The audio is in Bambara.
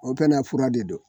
O pɛnɛ fura de don